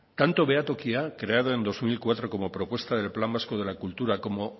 tanto behatokia creado en dos mil cuatro como propuesta del plan vasco de la cultura como